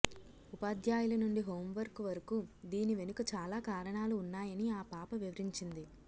ఉపాధ్యాయుల నుండి హోంవర్క్ వరకు దీని వెనుక చాలా కారణాలు ఉన్నాయని ఆ పాప వివరించింది